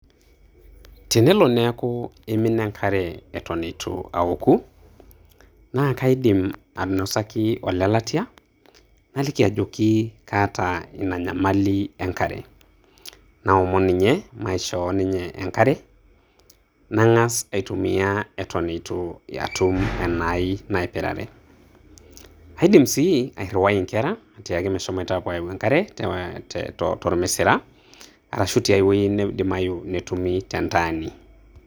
Tenelo neeku imina enkare eton eitu aoku, na kaidim ainosaki ole latia, naliki ajoki kaata ina nyamali enkare. Naomon ninye maishoo ninye enkare, nang'as aitumia eton eitu atum enai naipirare. Aidim si airriwai inkera atiaki meshomoita apuo ayau enkare te tormisira, arashu tiai wueji neidimayu netumi tentaani.